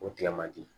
O tigɛ man di